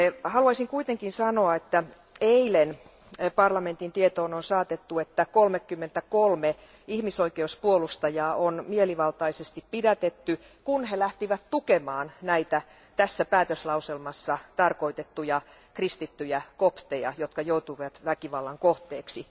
Haluaisin kuitenkin sanoa, että eilen parlamentin tietoon on saatettu, että 33 ihmisoikeuspuolustajaa on mielivaltaisesti pidätetty, kun he lähtivät tukemaan tässä päätöslauselmassa tarkoitettuja kristittyjä kopteja, jotka joutuivat väkivallan kohteeksi.